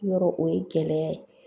Yɔrɔ o ye gɛlɛya ye